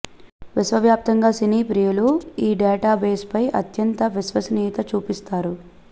విశ్వ వ్యాప్తంగా సినీ ప్రియులు ఈ డేటా బేస్పై అత్యంత విశ్వసనీయత చూపిస్తారు